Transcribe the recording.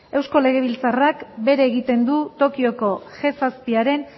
eusko legebiltzarrak bere egiten du tokioko ge zazpiaren